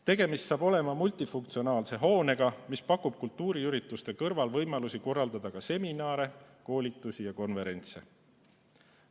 Tegemist saab olema multifunktsionaalse hoonega, mis pakub võimalusi kultuuriürituste kõrval korraldada seminare, koolitusi ja konverentse.